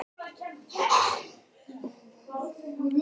Útkoman var þó vægast sagt ógnvekjandi.